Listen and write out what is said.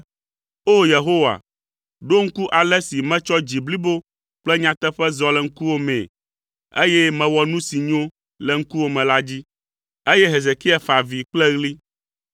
“O! Yehowa, ɖo ŋku ale si metsɔ dzi blibo kple nyateƒe zɔ le ŋkuwò mee, eye mewɔ nu si nyo le ŋkuwòme la dzi.” Eye Hezekia fa avi kple ɣli.